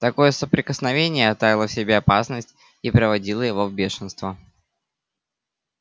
такое соприкосновение таило в себе опасность и приводило его в бешенство